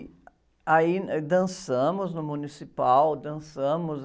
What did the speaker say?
Aí, eh, dançamos no municipal, dançamos.